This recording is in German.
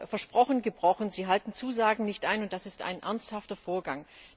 Versprochen, gebrochen Sie halten Zusagen nicht ein, und das ist ein ernsthafter Vorgang.